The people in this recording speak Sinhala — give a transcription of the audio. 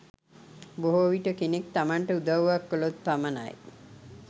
බොහෝ විට කෙනෙක් තමන්ට උදව්වක් කළොත් පමණයි,